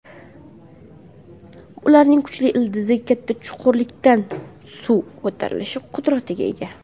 Ularning kuchli ildizi katta chuqurlikdan suv ko‘tarish qudratiga ega.